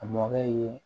A mɔkɛ ye